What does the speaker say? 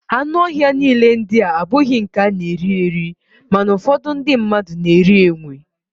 Anụ ọhịa niile ndịa abụghị nke a na-eri eri, mana ụfọdụ ndị mmadụ na-eri enwe